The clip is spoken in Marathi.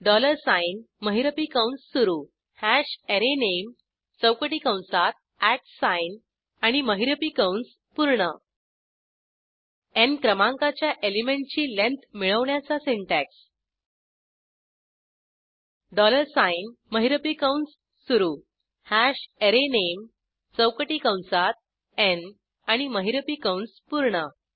डॉलर साइन महिरपी कंस सुरू हॅश अरेनामे चौकटी कंसात अट साइन आणि महिरपी कंस पूर्ण न् क्रमांकाच्या एलिमेंटची लेंथ मिळवण्याचा सिंटॅक्स डॉलर साइन महिरपी कंस सुरू हॅश अरेनामे चौकटी कंसात n आणि महिरपी कंस पूर्ण